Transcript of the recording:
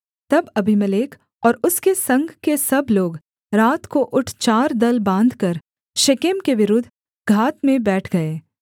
तब अबीमेलेक और उसके संग के सब लोग रात को उठ चार दल बाँधकर शेकेम के विरुद्ध घात में बैठ गए